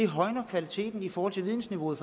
højner kvaliteten i forhold til vidensniveauet